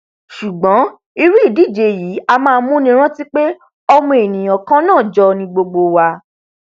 sùgbọn irú ìdíje yìí a máa múni rántí pé ọmọ ènìà kannáà jọ ni gbogbo wa